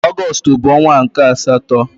Ọgọstụ bụ ọnwa nke asatọ.